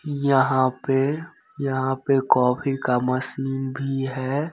यहाँ पे यहाँ पे कॉफ़ी का मशीन भी है।